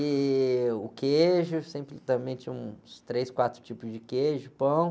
E o queijo, sempre também tinha uns três, quatro tipos de queijo, pão.